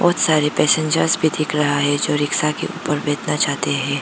बहुत सारी पैसेंजर भी दिख रहा है जो रिक्शा के ऊपर भेजना चाहते हैं।